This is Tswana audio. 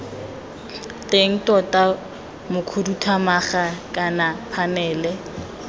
teng tona mokhuduthamaga kana phanele